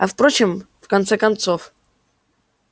а впрочем в конце концов